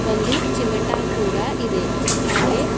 ಒಂದು ಚಿಮಟಾ ಕೂಡ ಇದೆ ಹಾಗೆ--